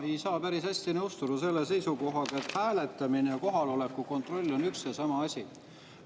Ma ei saa päris hästi nõustuda selle seisukohaga, et hääletamine ja kohaloleku kontroll on üks ja sama asi.